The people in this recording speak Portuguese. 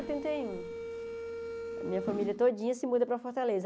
Setenta e um a minha família todinha se muda para Fortaleza.